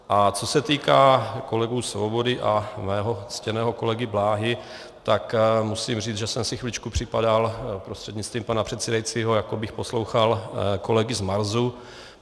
A co se týká kolegů Svobody a mého ctěného kolegy Bláhy, tak musím říct, že jsem si chviličku připadal prostřednictvím pana předsedajícího, jako bych poslouchal kolegy z Marsu.